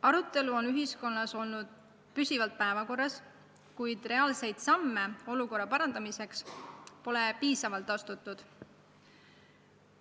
Arutelu on ühiskonnas olnud püsivalt päevakorral, kuid reaalseid samme olukorra parandamiseks pole piisavalt astutud.